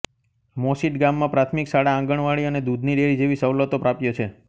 મોસીટ ગામમાં પ્રાથમિક શાળા આંગણવાડી અને દૂધની ડેરી જેવી સવલતો પ્રાપ્ય છે